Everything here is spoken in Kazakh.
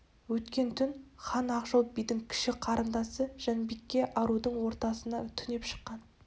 өткен түн хан ақжол бидің кіші қарындасы жанбике арудың ордасына түнеп шыққан